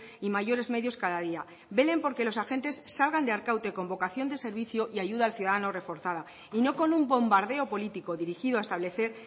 y mayores medios cada día velen porque los agentes salgan de arkaute con vocación de servicio y ayuda al ciudadano reforzada y no con un bombardeo político dirigido a establecer